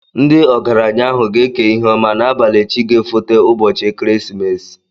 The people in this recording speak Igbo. Ndị ọgaránya ahụ ga-ékè ihe ọma n'abalị chi ga-éfoté ubochi ekeresimesi